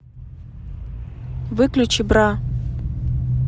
выключи бра